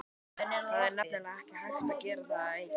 Það er nefnilega ekki hægt að gera það einn.